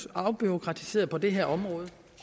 afbureaukratiseret på det her område